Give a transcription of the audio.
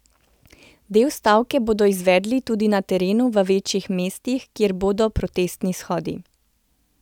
Del stavke bodo izvedli tudi na terenu v večjih mestih, kjer bodo protestni shodi.